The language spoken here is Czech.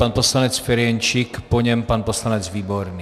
Pan poslanec Ferjenčík, po něm pan poslanec Výborný.